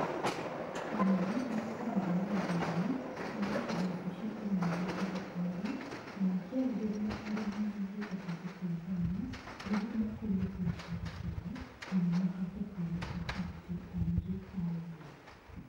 Anene a kamboni ngũrani marĩ wobici ĩmwe ya thirikari makĩarĩrĩria ũrĩa mangĩhota gũteithania, nĩguo makũrie biacara ciao na mahote kwandĩka aruti aingĩ a wĩra.